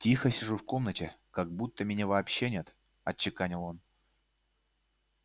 тихо сижу в комнате как будто меня вообще нет отчеканил он